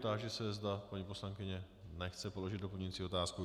Táži se, zda paní poslankyně - nechce položit doplňující otázku.